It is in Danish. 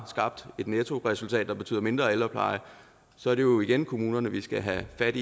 skabt et nettoresultat der betyder mindre ældrepleje så er det jo igen kommunerne vi skal have fat